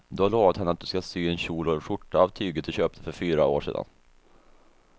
Du har lovat henne att du ska sy en kjol och skjorta av tyget du köpte för fyra år sedan.